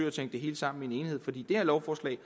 at tænke det hele sammen i enhed for det her lovforslag